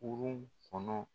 Kurun kɔnɔ.